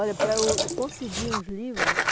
Olha, para eu eu conseguir os livros,